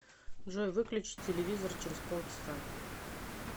джой выключи телевизор через полчаса